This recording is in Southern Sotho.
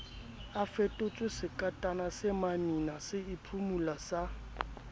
a fetotswesekatana semamina seiphumolo sa